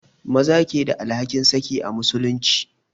Maza ke da alhakin saki a musulunci